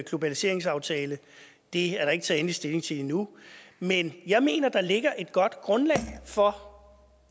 globaliseringsaftale det er der ikke taget endelig stilling til endnu men jeg mener der ligger et godt grundlag for